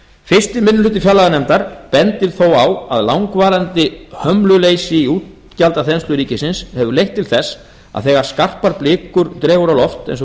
fyrsti minnihluti fjárlaganefndar bendir þó á að langvarandi hömluleysi í útgjaldaþenslu ríkisins hefur leitt til þess að þegar skarpar blikur dregur á loft eins og